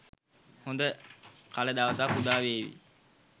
හොඳ කලදවසක්‌ උදාවේවි.